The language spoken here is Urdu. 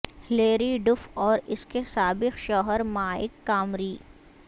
ہلیری ڈف اور اس کے سابق شوہر مائیک کامری